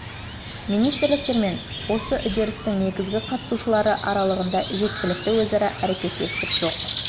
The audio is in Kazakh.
министрліктер мен осы үрдістің негізгі қатысушылары аралығында жеткілікті өзара әрекеттестік жоқ